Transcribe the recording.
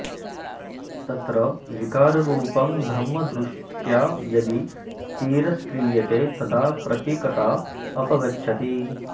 तत्र विकाररूपं ब्रह्मदृष्ट्या यदि तिरस्क्रियते तदा प्रतीकता अपगच्छति